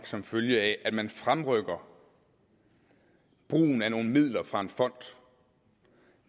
som følge af at man fremrykker brugen af nogle midler fra en fond